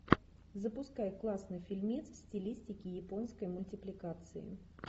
запускай классный фильмец в стилистике японской мультипликации